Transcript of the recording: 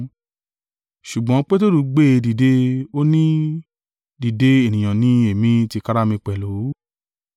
Ṣùgbọ́n Peteru gbé e dìde, ó ni, “Dìde ènìyàn ni èmi tìkára mi pẹ̀lú.”